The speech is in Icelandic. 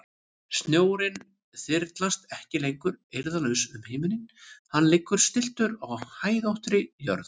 Snjórinn þyrlast ekki lengur eirðarlaus um himininn, hann liggur stilltur á hæðóttri jörð.